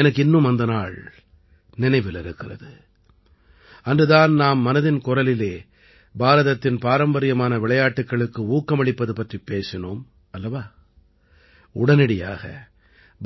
எனக்கு இன்னும் அந்த நாள் நினைவில் இருக்கிறது அன்று தான் நாம் மனதின் குரலிலே பாரதத்தின் பாரம்பரியமான விளையாட்டுக்களுக்கு ஊக்கமளிப்பது பற்றிப் பேசினோம் அல்லவா உடனடியாக